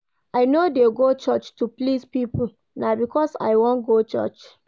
I no dey go church to please pipo, na because I wan go church.